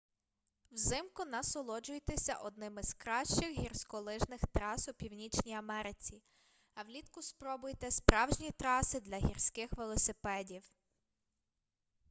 взимку насолоджуйтеся одними з кращих гірськолижних трас у північній америці а влітку спробуйте справжні траси для гірських велосипедів